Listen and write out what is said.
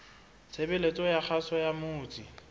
tshebeletso ya kgaso ya motse